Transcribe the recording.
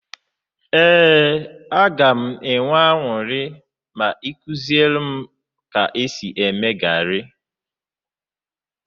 Eee ya, a ga m enwe añụrị ma ikuziere m ka esi eme gari